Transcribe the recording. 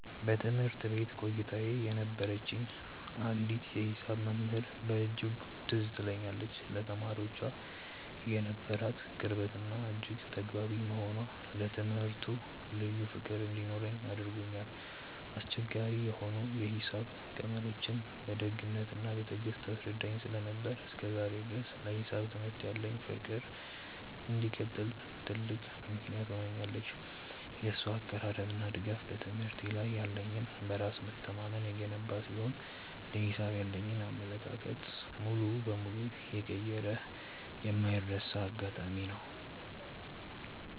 በትምህርት ቤት ቆይታዬ የነበረችኝ አንዲት የሂሳብ መምህር በእጅጉ ትዝ ትለኛለች፤ ለተማሪዎቿ የነበራት ቅርበትና እጅግ ተግባቢ መሆኗ ለትምህርቱ ልዩ ፍቅር እንዲኖረኝ አድርጎኛል። አስቸጋሪ የሆኑ የሂሳብ ቀመሮችን በደግነትና በትዕግስት ታስረዳኝ ስለነበር፣ እስከ ዛሬ ድረስ ለሂሳብ ትምህርት ያለኝ ፍቅር እንዲቀጥል ትልቅ ምክንያት ሆናኛለች። የእሷ አቀራረብና ድጋፍ በትምህርቴ ላይ ያለኝን በራስ መተማመን የገነባ ሲሆን፣ ለሂሳብ ያለኝን አመለካከት ሙሉ በሙሉ የቀየረ የማይረሳ አጋጣሚ ነው።